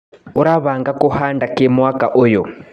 ũrabanga kũhanda kĩ mwaka ũyũ.